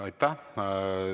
Aitäh!